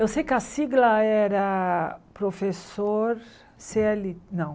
Eu sei que a sigla era professor cê éle... Não.